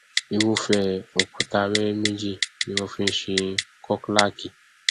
irúfẹ òkúta wẹwẹ méjì ni wọn fi nṣe khoklaki